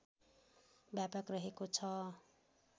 व्यापक रहेको छ